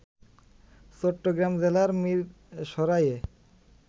চট্টগ্রাম জেলার মিরসরাইয়ে